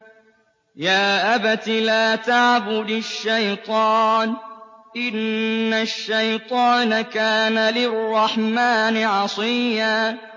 يَا أَبَتِ لَا تَعْبُدِ الشَّيْطَانَ ۖ إِنَّ الشَّيْطَانَ كَانَ لِلرَّحْمَٰنِ عَصِيًّا